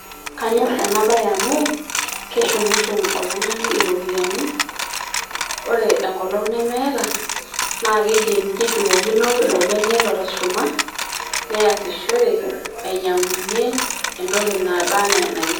Kaanyorr ena baye amu keshumushum oltung'ani irropiyiani ore enkolong nemeeta naa kidim neshukokino ilo bene otusushuma neasishore ainyiang'unyie entoki naba enaa enayieu.